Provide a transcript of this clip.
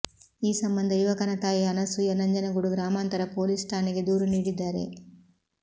ಈ ಸಂಬಂಧ ಯುವಕನ ತಾಯಿ ಅನಸೂಯ ನಂಜನಗೂಡು ಗ್ರಾಮಾಂತರ ಪೊಲೀಸ್ ಠಾಣೆಗೆ ದೂರು ನೀಡಿದ್ದಾರೆ